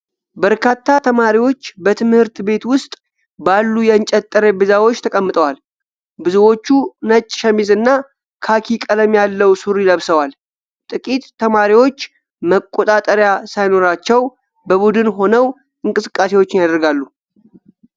በርካታ ተማሪዎች በትምህርት ቤት ውስጥ ባሉ የእንጨት ጠረጴዛዎች ተቀምጠዋል። ብዙዎቹ ነጭ ሸሚዝና ካኪ ቀለም ያለው ሱሪ ለብሰዋል፤ ጥቂት ተማሪዎች መቆጣጠሪያ ሳይኖራቸው በቡድን ሆነው እንቅስቃሴዎችን ያደርጋሉ።